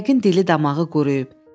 Yəqin dili damağı quruyub.